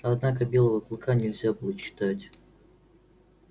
однако белого клыка нельзя было читать